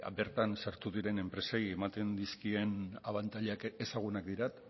bertan sartu diren enpresei ematen dizkien abantailak ezagunak dira